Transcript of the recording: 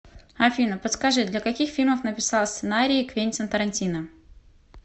афина подскажи для каких фильмов написал сценарии квентин тарантино